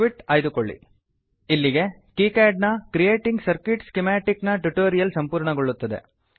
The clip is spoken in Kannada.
ಇಲ್ಲಿಗೆ ಕೀಕ್ಯಾಡ್ನ creating circuit schematic creating circuit schematic ನ ಟ್ಯುಟೋರಿಯಲ್ ಸಂಪೂರ್ಣಗೊಳ್ಳುತ್ತದೆ